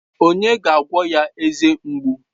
Onye ga-agwọ ya eze mgbu?